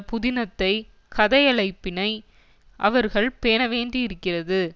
புதினத்தை கதையளைப்பினை அவர்கள் பேண வேண்டியிருக்கிறது